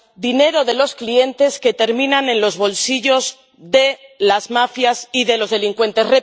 Dinero de los clientes que termina en los bolsillos de las mafias y de los delincuentes.